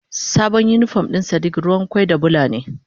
Sabon unipon na sadiq ruwan kwai da Bula ne.